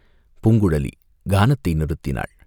பூங்குழலி கானத்தை நிறுத்தினாள்.